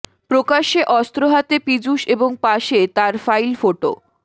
প্রকাশ্যে অস্ত্র হাতে পীযূষ এবং পাশে তার ফাইল ফটো